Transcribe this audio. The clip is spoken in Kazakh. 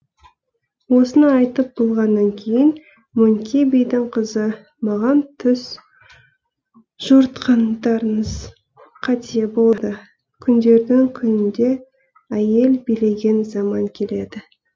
осыны айтып болғаннан кейін мөңке бидің қызы маған түс жорытқандарыңыз қате болды күндердің күнінде әйел билеген заман келеді